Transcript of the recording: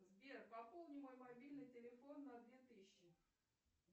сбер пополни мой мобильный телефон на две тысячи